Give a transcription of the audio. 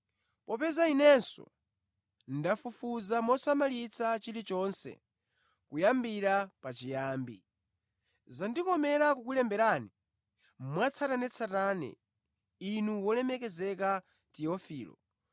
Popeza inenso ndafufuza mosamalitsa chilichonse kuyambira pachiyambi, zandikomera kukulemberani mwatsatanetsatane inu wolemekezeka Tiofilo,